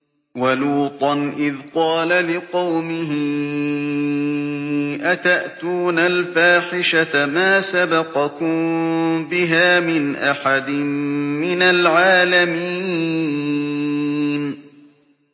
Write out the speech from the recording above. وَلُوطًا إِذْ قَالَ لِقَوْمِهِ أَتَأْتُونَ الْفَاحِشَةَ مَا سَبَقَكُم بِهَا مِنْ أَحَدٍ مِّنَ الْعَالَمِينَ